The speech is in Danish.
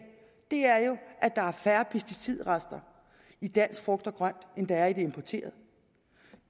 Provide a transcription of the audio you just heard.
er jo at der er færre pesticidrester i dansk frugt og grønt end der er i det importerede